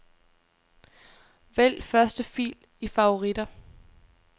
Vælg første fil i favoritter.